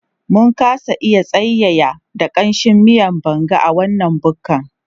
Mun kasa iya tsayayya da ƙamshin miyan Banga a wannan bukkan